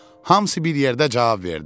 Hamısı bir yerdə cavab verdi: